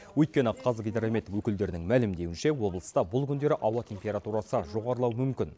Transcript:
өйткені қазгидромет өкілдерінің мәлімдеуінше облыста бұл күндері ауа температурасы жоғарлауы мүмкін